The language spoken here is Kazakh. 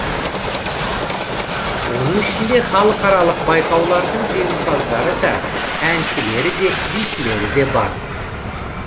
оның ішінде халықаралық байқаулардың жеңімпаздары да әншілері де бишілері де бар